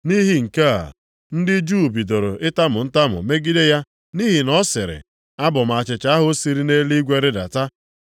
Nʼihi nke a, ndị Juu bidoro itamu ntamu megide ya nʼihi na ọ sịrị, “Abụ m achịcha ahụ siri nʼeluigwe rịdata.”